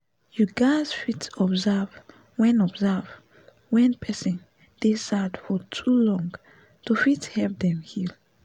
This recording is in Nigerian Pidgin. you gaz fit observe wen observe wen person dey sad for too long to fit help dem heal